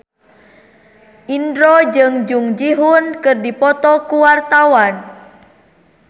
Indro jeung Jung Ji Hoon keur dipoto ku wartawan